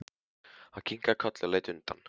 Hann kinkaði kolli og leit undan.